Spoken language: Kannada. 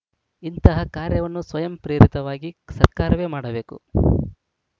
ಇಂತಹ ಕಾರ್ಯವನ್ನು ಸ್ವಯಂ ಪ್ರೇರಿತವಾಗಿ ಸರ್ಕಾರವೇ ಮಾಡಬೇಕು